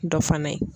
Dɔ fana ye